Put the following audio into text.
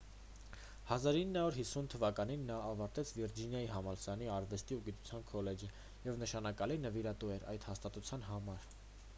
1950 թվականին նա ավարտեց վիրջինիայի համալսարանի արվեստի և գիտության քոլեջը և նշանակալի նվիրատու էր այդ հաստատության համար